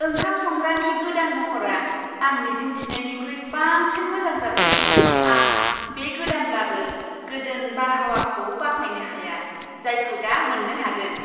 ओंखाम संग्रानि गोदान महरआ आं मिजिं थिनायनिख्रुइ बांसिन मोजां जादों, आं बे गोदानब्लाबो गोजोन बारहावाखौ बाख्नायनो हाया, जायखौ दा मोननो हादों।